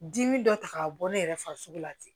Dimi dɔ ta k'a bɔ ne yɛrɛ farisogo la ten